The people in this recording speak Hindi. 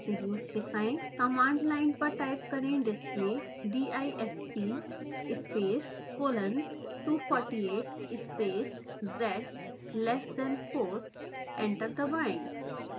कमांड लाइन पर टाइप करें display disp space colon 248 space z less than fourdisp :248 z<4एंटर दबाएँ